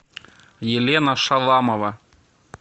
елена шаламова